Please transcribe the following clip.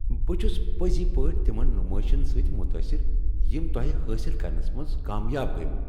بہٕ چھس پٔزی پٲٹھۍ تمن نمٲیشن سۭتۍ متٲثر یم تۄہہ حٲصل کرنس منٛز کامیاب گٔیۍ وہ۔